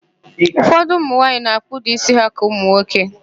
Ụfọdụ ụmụnwaanyị na-akpụda ísí ha ka ụmụnwoke